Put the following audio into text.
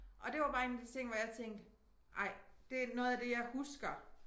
Og det var bare 1 af de ting hvor jeg tænkte ej det noget af det jeg husker